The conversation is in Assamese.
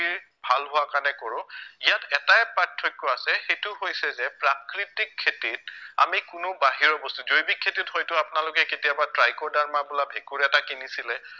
ভাল হোৱা কাৰণে কৰো ইয়াত এটাই পাৰ্থক্য় আছে সেইটো হৈছে যে প্ৰাকৃতিক খেতিত আমি কোনো বাহিৰৰ বস্তু জৈৱিক খেতিত হয়তো আপোনালোকে কেতিয়াবা ট্ৰাইক'ডাৰ্মা বোলা ভেঁকুৰ এটা কিনিছিলে